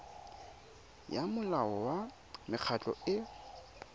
ya molao wa mekgatlho e